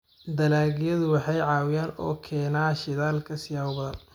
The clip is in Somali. dalagyadu waxay caawiyaan oo keena shidaalka siyaabo badan.